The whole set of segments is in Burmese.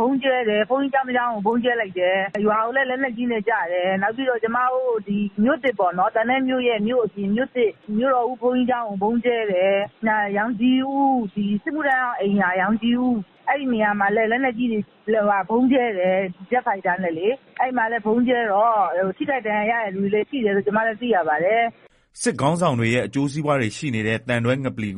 ဗုံးကြဲတယ် ဘုန်းကြီး ကျောင်းတကျောင်း ကို ဗုံးကြဲလိုက်တယ်၊ လက်မှာလည်း လက်နက်ကြီးတွေ ကျတယ်၊ နောက်ပြီးတော့ ကျမတို့ သံတွဲမြို့သစ်ပေါ့နော် အဲဒီက ဘုးန်ကြီးကျောင်းကို ဗုံးကြဲတယ်၊ နောက် စစ်မှုထမ်းဟောင်း အိမ်ရာ ရောင်ခြည်ဦး အဲဒီနေရာမှာလည်း ဗုံးကြဲတယ်၊ ဂျက်ဖိုက်တာနဲ့လေ အဲဒီမှာ ထိခိုက်ဒဏ်ရာရတဲ့သူတွေ ရှိတယ်လို့ ကျမတို့ သိရပါတယ်။” စစ်ကောင်စီခေါင်းဆောင်တွေရဲ့ အကျိုးစီးပွားတွေ ရှိနေတဲ့ သံတွဲငပလီ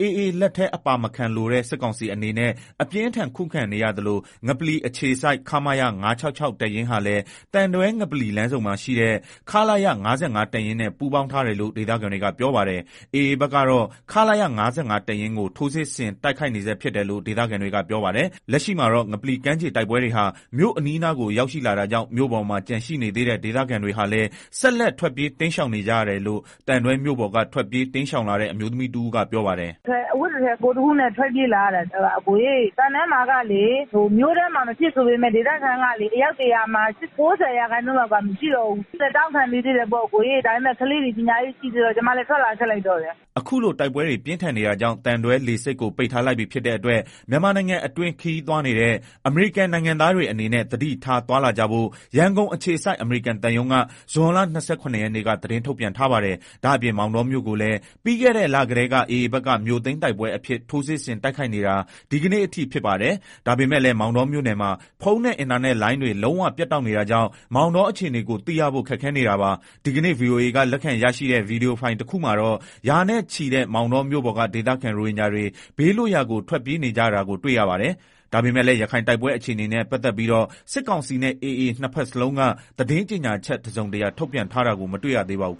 AA လက်ထဲအပါမခံလိုတဲ့ စစ်ကောင်စီအနေနဲ့ အပြင်းအထန်ခံနေရသလို ငပလီအခြေစိုက် ခမရ ၅၆၆တပ်ရင်းဟာလည်း သံတွဲ ငပလီ လမ်းဆုံမှာရှိတဲ့ ခလရ ၅၅ တပ်ရင်းနဲ့ ပူးပေါင်းထားတယ်လို့ ဒေသခံတွေကပြောပါတယ်။ AA ဘက်ကတော့ ခလရ ၅၅တပ်ရင်းကို ထိုးစစ်ဆင်တိုက်ခိုက် နေဆဲဖြစ်တယ်လို့ ဒေသခံတွေကပြောပါတယ်။ လက်ရှိမှာတော့ ငပလီကမ်းခြေတိုက်ပွဲတွေဟာ မြို့အနီးအနားကို ရောက်ရှိလာတာကြောင့် မြို့ပေါ်မှာ ကျန်ရှိနေသေးတဲ့ဒေသခံတွေဟာလည်း ဆက်လက်ထွက်ပြေးတိမ်းရှောင် နေကြရတယ်လို့ သံတွဲမြို့ပေါ်က ထွက်ပြေးတိမ်းရှောင်လာတဲ့ အမျိုးသမီးတဦးက ပြောပါတယ်။ “ကျမတို့လည်း အဝတ်တထည်ကိုယ်တခုနဲ့ ထွက်ပြေးလာရတာ သံတွဲမှာကလည်း မြို့ထဲမှာ မဖြစ်ဆိုပေမယ့် ဒေသခံကလည်း အယောက် ၁ဝဝမှာ ၉ဝလောက်က မရှိတော့ဘူး။ ကျမတို့လည်း တောင့်ခံနေသေးတယ် ဒါပေမယ့် ကလေးတွေလည်း ပညာရေးကလည်း ရှိသေးတော့ ထွက်လာခဲ့လိုက်တယ်။” အခုလို တိုက်ပွဲတွေ ပြင်းထန်နေတာကြောင့် သံတွဲလေဆိပ်ကို ပိတ်ထားလိုက်ပြီ ဖြစ်တဲ့အတွက် မြန်မာနိုင်ငံအတွင်း ခရီးသွားနေတဲ့ အမေရိကန်နိုင်ငံသားတွေအနေနဲ့ သတိထားသွား လာကြဖို့ ရန်ကုန်အခြေစိုက် အမေရိကန်သံရုံးက ဇွန်လ ၂၇ ရက်နေ့က သတင်းထုတ်ပြန်ထားပါတယ်။ ဒါ့အပြင် မောင်တောမြို့ကိုလည်း ပြီးခဲ့တဲ့ လကတည်းက AAဘက်က မြို့သိမ်းတိုက်ပွဲအဖြစ် ထိုးစစ်ဆင်တိုက်ခိုက်နေတာဒီကနေ့အထိဖြစ်ပါတယ်။ ဒါပေမယ့်လည်း မောင်တောမြို့နယ်မှာ ဖုန်းနဲ့ အင်တာနက်လိုင်းတွေ လုံးဝပြတ်တောက်နေတာကြောင့် မောင်တောအခြေအနေ ကိုသိရဖို့ခက်ခဲနေတာပါ။ ဒီကနေ့ ဗွီအိုအေက လက်ခံရရှိတဲ့ ဗွီဒီယိုဖိုင်တခုမှာတော့ ရာနဲ့ချီ မောင်တောမြို့ပေါ်က ဒေသခံ ရိုဟင်ဂျာတွေ ဘေးလွတ်ရာကို ထွက်ပြေးနေကြတာကိုတွေ့ရပါတယ်။ ဒါပေမယ့်လည်း ရခိုင်တိုက်ပွဲအခြေအနေနဲ့ ပတ်သက်ပြီးတော့ စစ်ကောင်စီနဲ့ AAနှစ်ဘက်လုံးက သတင်းကြေညာချက် တစုံတရာထုတ်ပြန်ထားတာကို မတွေ့ရသေးပါဘူး